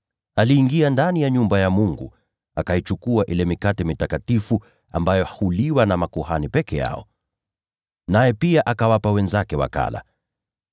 Aliingia ndani ya nyumba ya Mungu, akaichukua na kuila ile mikate iliyowekwa wakfu, ambayo ni halali kuliwa na makuhani peke yao. Naye pia akawapa wenzake.”